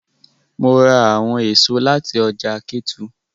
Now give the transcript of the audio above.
Mo ra awọn eso lati ọja Ketu